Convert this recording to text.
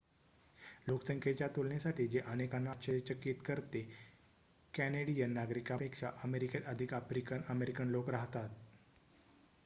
लोकसंख्येच्या तुलनेसाठी जे अनेकांना आश्चर्यचकित करते कॅनेडियन नागरिकांपेक्षा अमेरिकेत अधिक आफ्रिकन अमेरिकन लोक राहतात